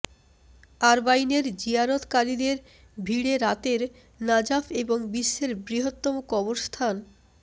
আরবাইনের জিয়ারতকারীদের ভিড়ে রাতের নাজাফ এবং বিশ্বের বৃহত্তম কবরস্থান